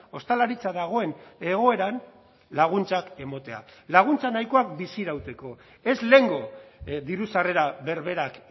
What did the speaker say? ostalaritza dagoen egoeran laguntzak ematea laguntza nahikoak bizi irauteko ez lehengo diru sarrera berberak